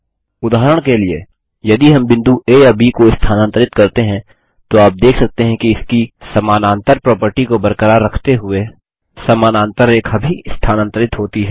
उदाहरण के लिए यदि हम बिंदु आ या ब को स्थानांतरित करते हैं तो आप देख सकते हैं कि इसकी पेर्लेल प्रोपर्टी को बरकरार रखते हुए समानांतर रेखा भी स्थानांतरित होती है